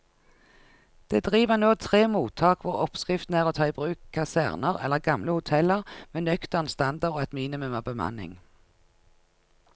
Det driver nå tre mottak hvor oppskriften er å ta i bruk kaserner eller gamle hoteller med nøktern standard og et minimum av bemanning.